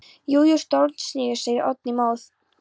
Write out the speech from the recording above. Jú jú, stórsniðugt, segir Oddný móð.